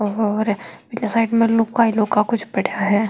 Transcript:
और साइड में लौह का कुछ पड़या है।